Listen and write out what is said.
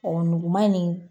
Ɔn nuguman nin